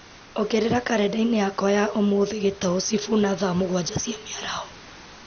ongerera karenda-inĩ yakwa ya ũmũthĩ gĩtaũ sifuna thaa mũgwanja cia mĩaraho